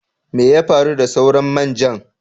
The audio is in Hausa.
Mai ya faru da sauran main jan?